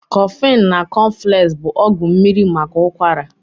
Koflin na Kofex bụ ọgwụ mmiri maka ụkwara